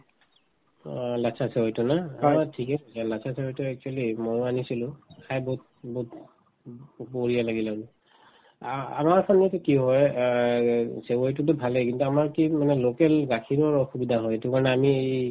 অ, লাচ্চা চেৱাইতো ন অ ঠিকে এই লাচ্চা চেৱাইতো actually ময়ো আনিছিলো খাই বহুত বহুত ব বঢ়িয়া লাগিলে আ আমাৰ ফালেতো কি হয় অ চেৱাইতোতো ভালেই কিন্তু আমাৰ কি মানে local গাখীৰৰ অসুবিধা হয় এইটো কাৰণে আমি